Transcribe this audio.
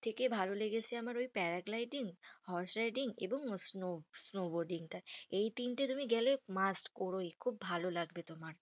থেকে ভালো লেগেছে আমার ওই paragliding horse riding এবং snow snowboarding টা। এই তিনটে তুমি গেলে must কোরোই। খুব ভালো লাগবে তোমার।